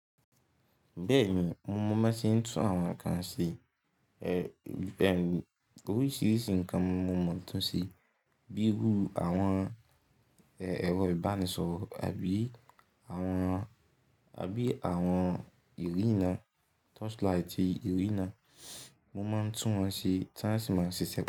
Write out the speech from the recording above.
Bẹ́ẹ̀ni, mo máa ban se ń tún àwọn nǹkan ṣe. Oríṣiríṣi nkan ni mo máa ń túnṣe, bí irú àwọn ẹ̀rọ ìbánisọ̀rọ̀, àbí àwọn irina touchlight irina mo máa ń tún wọn ṣe tí wọ́n sì ma ṣiṣẹ́.